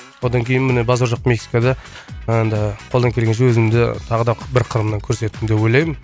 одан кейін міне базар жоқ мексикада енді қолдан келгенше өзімді тағы да бір қырымнан көрсеттім деп ойлаймын